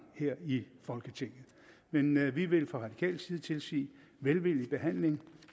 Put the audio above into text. her i folketinget men vi vi vil fra radikal side tilsige velvillig behandling